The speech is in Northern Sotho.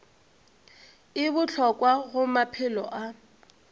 e bohlokwa go maphelo a